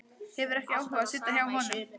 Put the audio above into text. Hefur ekki áhuga á að sitja hjá honum.